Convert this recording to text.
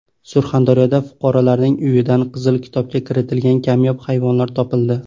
Surxondaryoda fuqarolarning uyidan Qizil kitobga kiritilgan kamyob hayvonlar topildi.